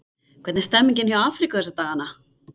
Hvernig er stemmningin hjá Afríku þessa dagana?